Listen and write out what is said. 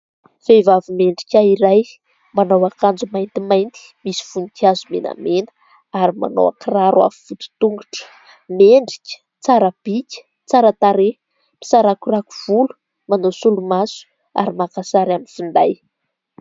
Vehivavy mendrika iray manao akanjo maintimainty, misy voninkazo menamena ary manao kiraro avo vody tongotra. Mendrika tsara bika, tsara tarehy, misarakorako volo, manao solomaso ary maka sary amin'ny finday.